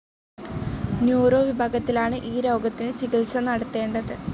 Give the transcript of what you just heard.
Neuro വിഭാഗത്തിലാണ് ഈ രോഗത്തിന് ചികിത്സ നടത്തേണ്ടത്.